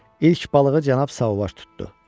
İlk balığı Cənab Sauvage tutdu.